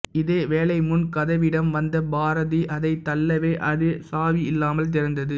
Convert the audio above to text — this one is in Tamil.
இதேவேளை முன் கதவிடம் வந்த பாரதி அதை தள்ளவே அது சாவியில்லாமல் திறந்தது